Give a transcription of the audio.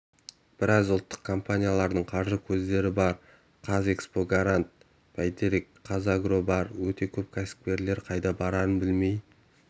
біраз ұлттық компаниялардың қаржы көздері бар қазэкспортгарант бәйтерек қазагро бар өте көп кәсіпкерлер қайда барарын білмей